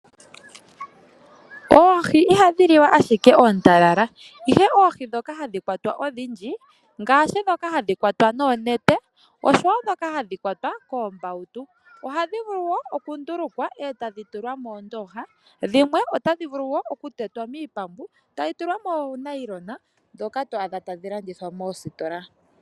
Oohi ihadhi liwa ashike ootalala ihe oohi dhoka hadhi kwatwa odhindji ngaashi dhoka hadhi kwatwa noonete oshowo dhoka hadhi kwatwa koombautu ohadhi vulu wo okundulukwa etadhi tulwa mondooha dhimwe otadhi vulu wo oku tetwa miipambu tadhi tulwa moonayilona dhoka twaadha tadhi landithwa moositola.